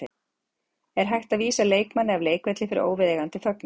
Er hægt að vísa leikmanni af leikvelli fyrir óviðeigandi fögnuð?